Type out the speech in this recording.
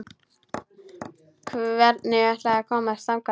Hvernig ætlarðu að komast þangað?